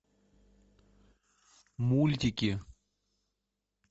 мультики